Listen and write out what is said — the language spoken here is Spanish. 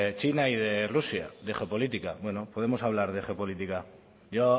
china y de rusia de geopolítica bueno podemos hablar de geopolítica yo